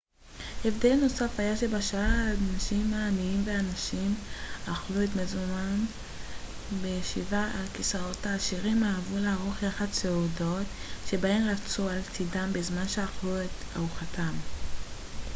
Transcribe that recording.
הבדל נוסף היה שבשעה שהאנשים העניים והנשים אכלו את מזונם בישיבה על כיסאות העשירים אהבו לערוך יחד סעודות שבהן רבצו על צידם בזמן שאכלו את ארוחתם